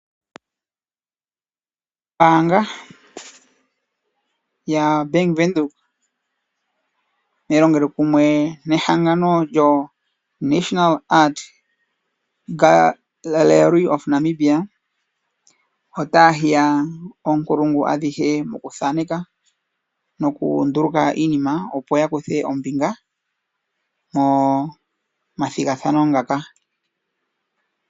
Ombaanga yobank Windhoek otayi longele kumwe nehangano National art gallery lyaNamibia, otaya hiya oonkulungu adhihe mokuthaaneka nokunduluka iinima, opo yakuthe ombinga momathigathano ngaka.